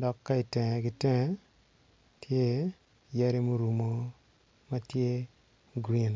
dok ka itenge gi tenge tye yadi ma orumo matye green.